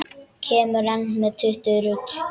Kemurðu enn með þetta rugl!